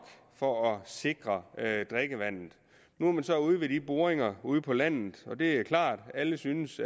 for at sikre drikkevandet nu har man så i de boringer ude på landet og det er klart at alle synes